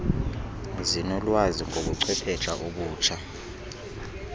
zinolwazi ngobuchwephesha obutsha